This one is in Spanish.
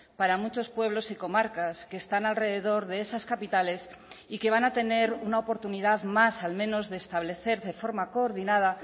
para muchos pueblos y comarcas que están alrededor de esas capitales y que van a tener una oportunidad más al menos de establecer de forma coordinada